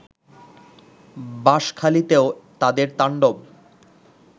বাশঁখালীতেও তাদের তাণ্ডব